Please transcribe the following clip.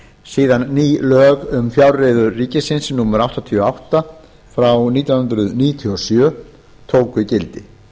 síðan ný lög um fjárreiður ríkisins númer áttatíu og átta nítján hundruð níutíu og sjö tóku gildi